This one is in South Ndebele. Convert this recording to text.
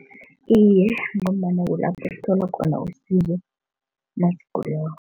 Iye, ngombana kulapho kutholwa khona usizo nasigulako.